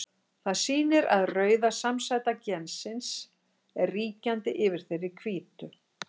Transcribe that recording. Það sýnir að rauða samsæta gensins er ríkjandi yfir þeirri hvítu.